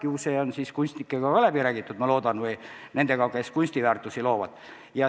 Ju see on kunstnikega läbi räägitud, ma loodan, või nendega, kes kunstiteoseid loovad.